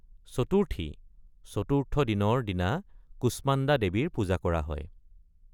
চতুৰ্থী (চতুৰ্থ দিন)ৰ দিনা কুষ্মাণ্ডা দেৱীৰ পূজা কৰা হয়।